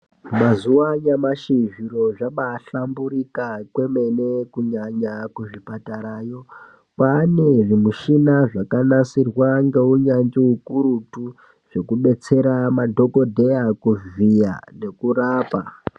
Mazuwa anyamashi, zviro zvabahlamburika kwemene kunyanya kuzvipatarayo. Kwane zvimushina zvakanasirwa ngeunyanzvi hukurutu zvekudetsere madhokodheya kuvhiya nekurapa.